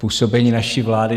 Působení naší vlády?